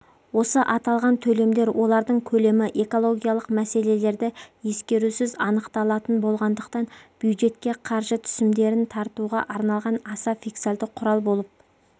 осы аталған төлемдер олардың көлемі экологиялық мәселелерді ескерусіз анықталатын болғандықтан бюджетке қаржы түсімдерін тартуға арналған аса фискальды құрал болып